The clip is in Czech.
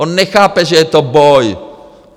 On nechápe, že je to boj!